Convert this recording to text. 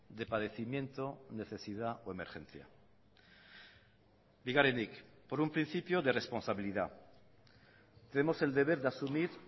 de padecimiento necesidad o emergencia bigarrenik por un principio de responsabilidad tenemos el deber de asumir